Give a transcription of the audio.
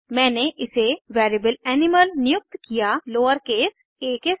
मैंने इसे variable animal नियुक्त किया लोअरकेस आ के साथ